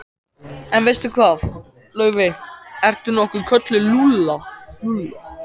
En veistu hvað, Laufey- ertu nokkuð kölluð Lulla?